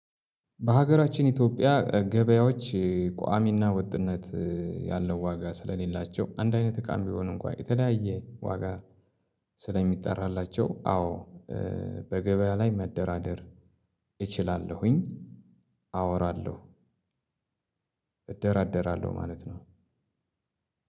በሀገራችን ኢትዮጵያ ገበያዎች ቋሚና ወጥነት ያለው ዋጋ ስለሌላቸው አንድ አይነት እቃም ቢሆን እንኳን የተለያየ ዋጋ ስለሚጠራላቸው። አዎ በገበያ ላይ መደራደር እችላለሁኝ። አወራለሁ እደራደራለሁ ማለት ነው።